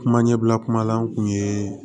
Kuma ɲɛbila kuma la n'u ye